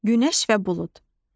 Günəş və bulud.